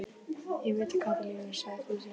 Ég veit að Kata lýgur, sagði Fúsi.